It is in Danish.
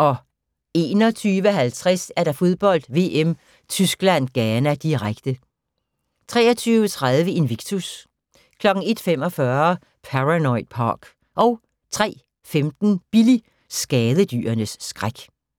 21:50: Fodbold: VM - Tyskland-Ghana, direkte 23:30: Invictus 01:45: Paranoid Park 03:15: Billy – skadedyrenes skræk